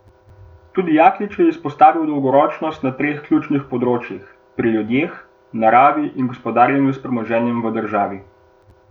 Tudi Jaklič je izpostavil dolgoročnost na treh ključnih področjih, pri ljudeh, naravi in gospodarjenju s premoženjem v državi.